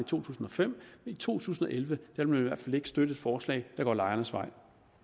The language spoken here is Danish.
tusind og fem i to tusind og elleve vil man i hvert fald ikke støtte et forslag der går lejernes vej